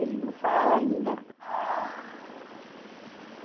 Ele não fala ainda.